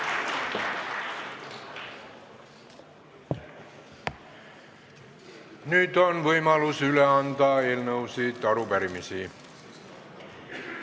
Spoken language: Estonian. Nüüd on võimalus anda üle eelnõusid ja arupärimisi.